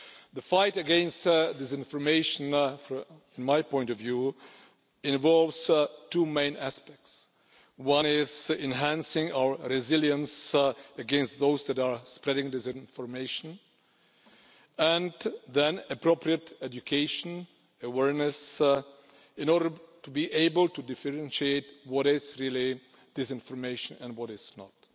The fight against disinformation, from my point of view, involves two main aspects. One is enhancing our resilience against those that are spreading disinformation and the other is appropriate education awareness, in order to be able to differentiate between what is really disinformation and what is not.